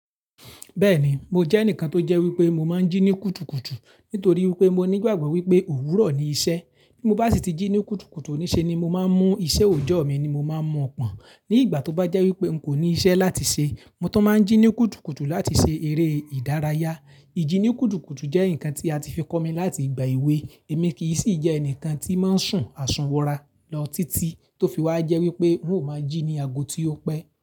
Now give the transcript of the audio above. Bẹ́ẹ̀ni, mo jẹ́ ẹnìkan tó jẹ́ wípé mo máa ń jí ní kùtùkùtù nítorí wípé mo nígbàgbọ́ wípé òwúrọ̀ ni iṣẹ́. Bí mo bá sì ti jí ní kùtùkùtù, ní ṣe ni mo máa ń mú iṣẹ́ òjọ́ mi ni mo máa ń mọ̀ pọn. Ní ìgbà tó bá jẹ́ wípé n kò ní iṣẹ́ láti ṣe, mo tán máa ń jí ní kùtùkùtù láti ṣe eré ìdárayá. Iji ní kùtùkùtù jẹ́ nǹkan tí a ti fi kọ́ mi láti ìgbà èwe. Èmi kì í sì jẹ́ ẹnìkan tí máa ń sùn àsùnwọ̀n ra lọ títí tó fi wá jẹ́ wípé ń ò maa jí ní ago tí ó pẹ́